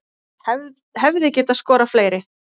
Hefði getað skorað fleiri